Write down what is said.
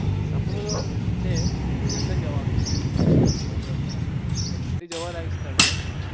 સપનું છે london જવાનું એ જોવા લાયક સ્થળ છે ને